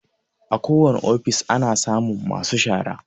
Akowane ofis ana samun masu shara.